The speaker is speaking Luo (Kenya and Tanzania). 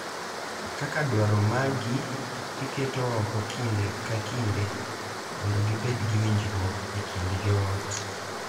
Kaka dwaro maggi iketo oko kinde ka kinde mondo gibed gi winjruok e kind joot.